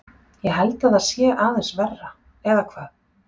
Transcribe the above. Ég held að það sé aðeins verra, eða hvað?